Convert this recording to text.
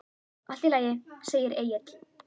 Allt í lagi, segir Egill.